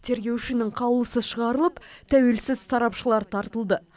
тергеушінің қаулысы шығарылып тәуелсіз сарапшылар тартылды